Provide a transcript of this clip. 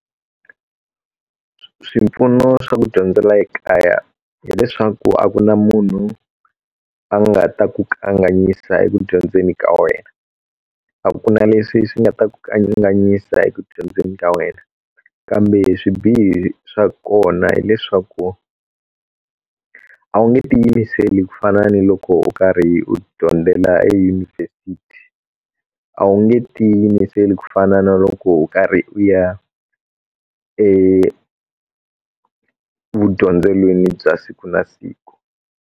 Swipfuno swa ku dyondzela ekaya hileswaku a ku na munhu a nga ta ku kanganyisa eku dyondzeni ka wena a ku na leswi swi nga ta ku kanganyisa eku dyondzeni ka wena kambe swibihi swa kona hileswaku a wu nge tiyimiseli ku fana ni loko u karhi u dyondzela eyunivhesiti a wu nge tiyimiseli ku fana na loko u karhi u ya evudyondzelweni bya siku na siku.